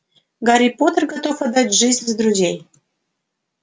гарри поттер готов отдать жизнь за друзей